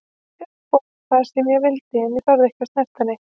Mér var boðið hvað sem ég vildi en ég þorði ekki að snerta neitt.